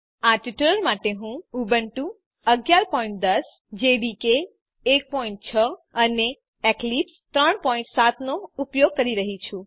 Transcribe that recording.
આ ટ્યુટોરીયલ માટે હું ઉબુન્ટુ 1110 જેડીકે 16 અને એક્લિપ્સ 37 નો ઉપયોગ કરી રહ્યી છું